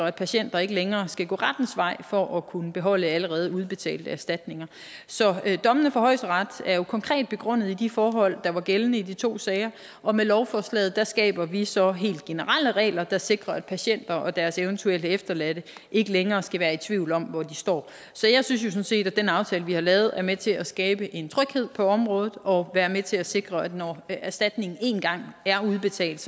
at patienter ikke længere skal gå rettens vej for at kunne beholde allerede udbetalte erstatninger så dommene fra højesteret er jo konkret begrundet i de forhold der var gældende i de to sager og med lovforslaget skaber vi så helt generelle regler der sikrer at patienter og deres eventuelle efterladte ikke længere skal være tvivl om hvor de står så jeg synes sådan set at den aftale vi har lavet er med til at skabe en tryghed på området og er med til at sikre at når erstatning én gang er udbetalt